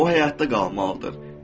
O həyatda qalmalıdır.